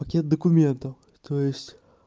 пакет документов то есть